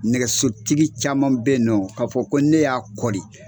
Nɛgɛsotigi caman bɛ yen nɔ k'a fɔ ko ne y'a kɔli